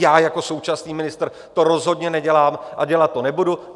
Já jako současný ministr to rozhodně nedělám a dělat to nebudu.